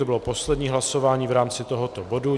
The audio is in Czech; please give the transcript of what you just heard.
To bylo poslední hlasování v rámci tohoto bodu.